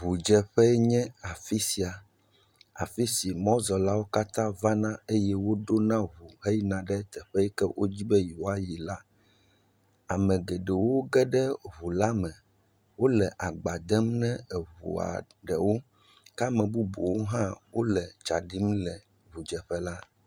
Ŋudzeƒee nye afi sia, afi si mɔzɔlawo katã vana eye woɖona ŋu heyina ɖe teƒe yi ke wodi be yewoayi la, ame geɖewo ge ɖe ŋu la me. Wole agba dem na ŋua geɖewo ke ame bubuwo hã le tsa ɖim le ŋudzeƒe la.